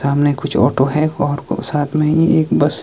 सामने कुछ ऑटो है और को साथ में ही एक बस --